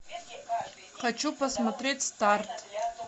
хочу посмотреть старт